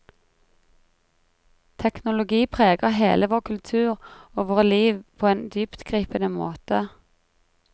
Teknologi preger hele vår kultur og våre liv på en dyptgripende måte.